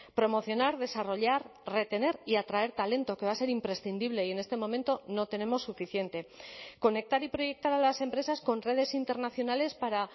promocionar desarrollar retener y atraer talento que va a ser imprescindible y en este momento no tenemos suficiente conectar y proyectar a las empresas con redes internacionales para